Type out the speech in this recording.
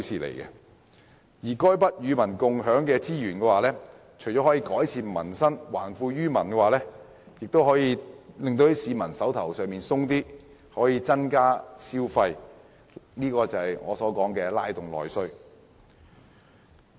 這些與民共享的資源，除了可改善民生、還富於民外，也可令市民"手頭"鬆一點，從而刺激消費，即我所指的"拉動內需"。